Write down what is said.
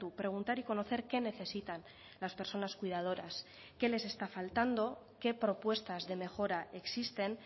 preguntar y conocer qué necesitan las personas cuidadoras qué les está faltando qué propuestas de mejora existen